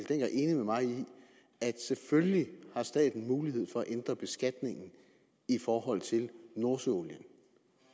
mig i at selvfølgelig har staten mulighed for at ændre beskatningen i forhold til nordsøolien